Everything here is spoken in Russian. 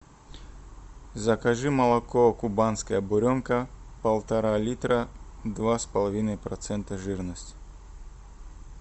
закажи молоко кубанская буренка полтора литра два с половиной процента жирности